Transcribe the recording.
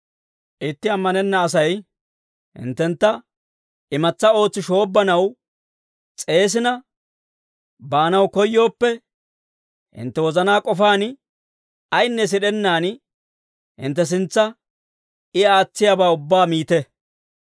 Itti ammanenna Asay hinttentta imatsa ootsi shoobbanaw s'eesina baanaw koyyooppe, hintte wozanaa k'ofaan, ayinne sid'ennaan hintte sintsa I aatsiyaabaa ubbaa miite.